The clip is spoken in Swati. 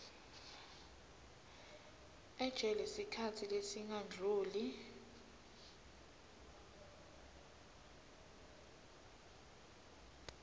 ejele sikhatsi lesingadluli